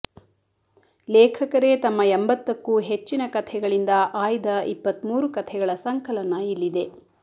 ಲೇಖಕರೇ ತಮ್ಮ ಎಂಬತ್ತಕ್ಕೂ ಹೆಚ್ಚಿನ ಕಥೆಗಳಿಂದ ಆಯ್ದ ಇಪ್ಪತ್ಮೂರು ಕಥೆಗಳ ಸಂಕಲನ ಇಲ್ಲಿದೆ